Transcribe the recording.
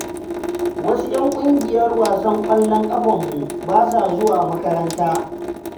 Wasu 'yan ƙungiyar wasan ƙwallon ƙafanmu, ba sa zuwa makaranta.